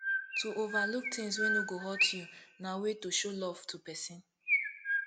to overlook things wey no go hurt you na way to show love to persin